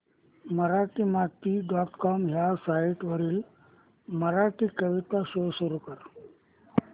Marathimati dot com ह्या site वरील मराठी कविता शो कर